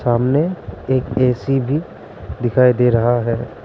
सामने एक ए_सी भी दिखाई दे रहा है।